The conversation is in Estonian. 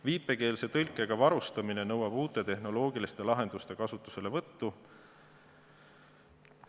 Viipekeelse tõlkega varustamine nõuab uute tehnoloogiliste lahenduste kasutuselevõttu.